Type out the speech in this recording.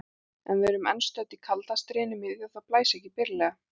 En við erum enn stödd í kalda stríðinu miðju og það blæs ekki byrlega.